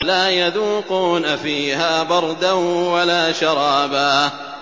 لَّا يَذُوقُونَ فِيهَا بَرْدًا وَلَا شَرَابًا